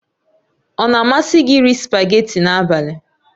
Ọ na-amasị gị iri spagéti n'abalị?